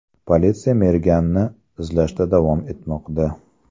Politsiya merganni izlashda davom etmoqda.